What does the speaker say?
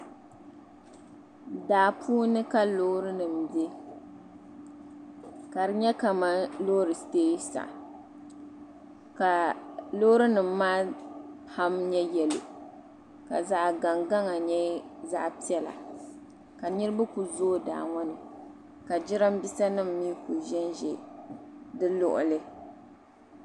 Daa puuni ka loorinima be ka di nyɛ kamani loori teesa ka loorinima maa pam nyɛ yɛlo ka zaɣ’gaŋgaŋ n-nyɛ zaɣ’piɛlla ka niriba kuli zooi daa ŋɔ ni ka jiraamiinsanima mi kuli ʒenʒe di luɣuli